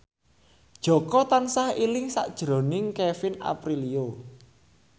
Jaka tansah eling sakjroning Kevin Aprilio